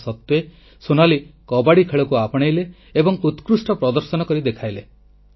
ତା ସତ୍ତ୍ୱେ ସୋନାଲି କବାଡ଼ି ଖେଳକୁ ଆପଣେଇଲେ ଏବଂ ଉତ୍କୃଷ୍ଟ ପ୍ରଦର୍ଶନ କରି ଦେଖାଇଲେ